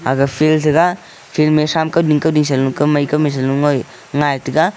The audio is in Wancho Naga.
aga field thaga field ma tham kuding kuding sa lo kamai kamai salo ngoi ngaitaga.